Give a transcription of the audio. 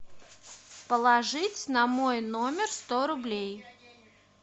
положить на мой номер сто рублей